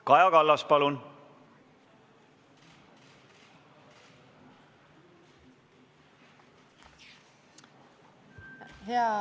Kaja Kallas, palun!